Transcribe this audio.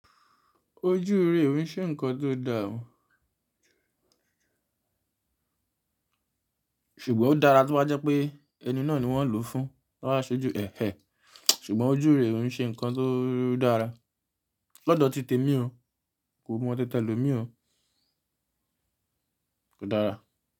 Ojú ìrè òun ṣe nnkan tó dà, ṣùgbọ́n ó dára tí o baa jẹ́ pé ẹni náà ni wọ́n lòó fún. Ti won be ṣẹ ju ẹ̀hẹ̀, ṣùgbọ́n ojú ìrè ò n ṣe nnkan tó dára. Lọ́dọ̀ ti tèmi ó, n kò mọ tí tẹ̀lòmi ó, kò dára.